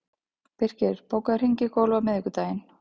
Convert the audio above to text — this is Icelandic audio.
Birkir, bókaðu hring í golf á miðvikudaginn.